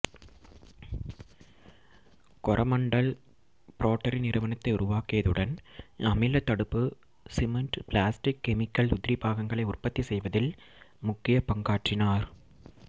கொரமண்டல் ப்ரோடரி நிறுவனத்தை உருவாக்கியதுடன் அமில தடுப்பு சிமெண்ட் பிளாஸ்டிக் கெமிக்கல் உதிரிபாகங்களை உற்பத்தி செய்வதில் முக்கிய பங்காற்றினார்